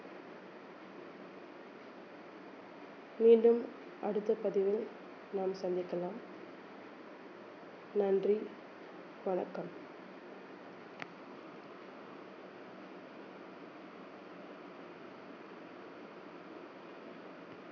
மீண்டும் அடுத்த பதிவில் நாம் சந்திக்கலாம் நன்றி வணக்கம்